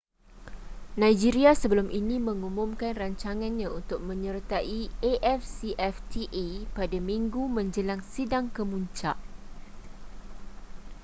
nigeria sebelum ini mengumumkan rancangannya untuk menyertai afcfta pada minggu menjelang sidang kemuncak